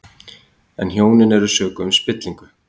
En hjónin eru sökuð um spillingu